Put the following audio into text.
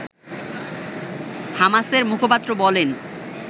হামাসের মুখপাত্র বলেন